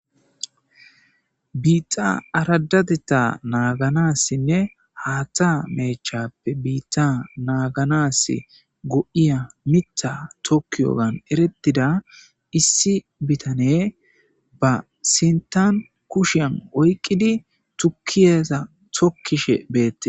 Biitxa aradateta naaganassinne haaththa meechappe biitta naaganas go,iya mitha tokkiyogan eretida issi bitane ba sintan kushiyan oyqqidi tukkiyeza tokkishe beette.